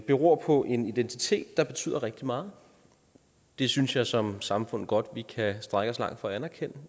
beror på en identitet der betyder rigtig meget det synes jeg som samfund godt vi kan strække os langt for at anerkende